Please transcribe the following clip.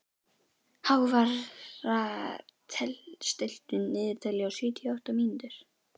Hávarr, stilltu niðurteljara á sjötíu og átta mínútur.